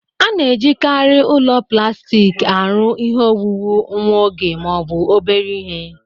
A na-ejikarị ụlọ plastik arụ ihe owuwu nwa oge ma ọ bụ obere ihe